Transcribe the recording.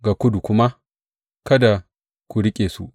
Ga kudu kuma, Kada ku riƙe su.’